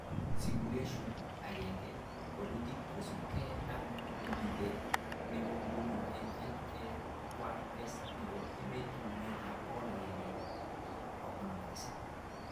Simulation 1, walutik kosubke ake nemite nebo nguno eng LAYS chebo ematnwek 157